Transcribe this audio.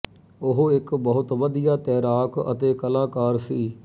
ਉਹ ਇੱਕ ਬਹੁਤ ਵਧੀਆ ਤੈਰਾਕ ਅਤੇ ਕਲਾਕਾਰ ਸੀ